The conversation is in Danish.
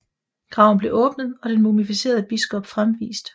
Graven blev åbnet og den mumificerede biskop fremvist